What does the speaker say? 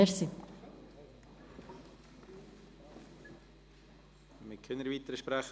Wir haben keine weiteren Sprecher.